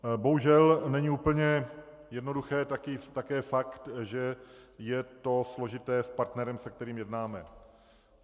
Bohužel není úplně jednoduchý také fakt, že je to složité s partnerem, se kterým jednáme.